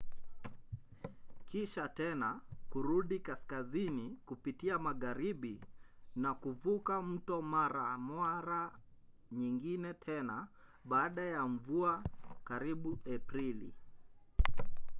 kisha tena kurudi kaskazini kupitia magharibi na kuvuka mto mara mara nyingine tena baada ya mvua karibu aprili